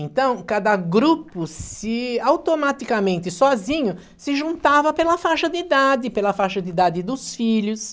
Então, cada grupo, se automaticamente, sozinho, se juntava pela faixa de idade, pela faixa de idade dos filhos.